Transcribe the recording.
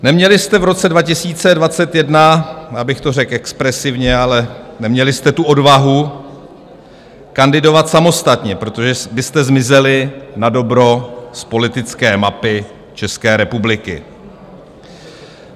Neměli jste v roce 2021, já bych to řekl expresivně, ale neměli jste tu odvahu kandidovat samostatně, protože byste zmizeli nadobro z politické mapy České republiky.